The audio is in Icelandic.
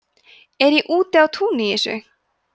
er ég úti á túni í þessu